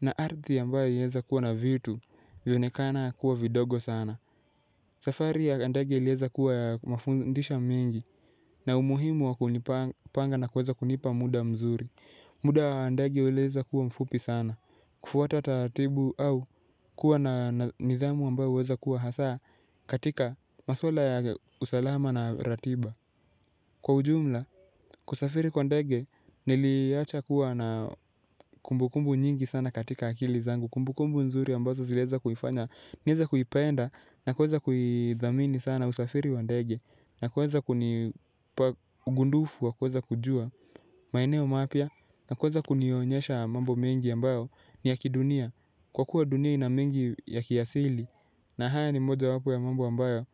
na arthi a mbao ilieza kuwa na vitu vionekana kuwa vidogo sana. Safari ya andege ilieza kuwa ya mafundisho mingi na umuhimu wa kunipanga na kuweza kunipa muda mzuri. Muda wa ndeei uliweza kuwa mfupi sana. Kufuata taratibu au kuwa na nidhamu ambayo uweza kuwa hasa katika maswala ya usalama na ratiba. Kwa ujumla, kusafiri kwa ndege niliiacha kuwa na kumbukumbu nyingi katika akili zangu kumbu kumbu nzuri ambazo ziliweza kunifanya nieze kuipenda na kuweza kuithamini sana usafiri wa ndege. Na kuweza kunipa ugundufu wa kuweza kujua maeneo mapia. Na kuweza kunionyesha mambo mengi ambayo ni ya kidunia. Kwa kuwa dunia inamengi ya kiasili na haya ni moja wapo ya mambo ambayo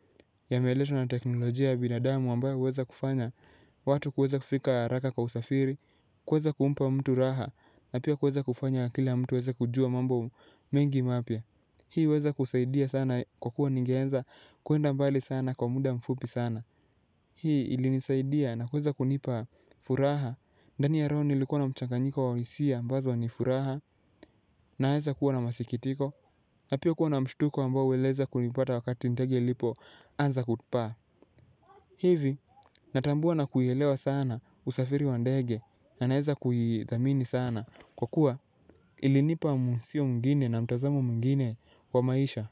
ya meletwa na teknolojia ya binadamu ambayo uweza kufanya. Watu kuweza kufika haraka kwa usafiri, kuweza kumpa mtu raha na pia kuweza kufanya kila mtu aweza kujua mambo mengi mapia. Hii uweza kusaidia sana kwa kuwa ningeanza kwenda mbali sana kwa mda mfupi sana. Hii ili nisaidia na kuweza kunipa furaha. Ndani ya roho nilikuwa na mchanganyiko wa wisia ambazo wa nifuraha naeza kuwa na masikitiko. Na pia kuwa na mshtuko ambao ueleza kunipata wakati ndege ilipo anza kupaa. Hivi natambua na kuielewa sana usafiri wa ndege na naeza kuidhamini sana. Kwa kuwa ilinipa msio mwingine na mtazamo mwingine wa maisha.